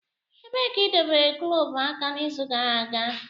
Ebee ka idobere glọvu aka n'izu gara aga?